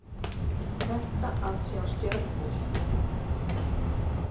Þetta að sjá stjörnur.